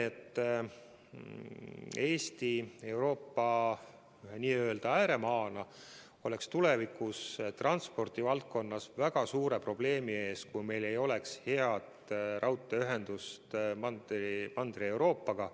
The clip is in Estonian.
Eesti Euroopa ääremaana oleks tulevikus transpordi valdkonnas väga suure probleemi ees, kui meil ei oleks head raudteeühendust Mandri-Euroopaga.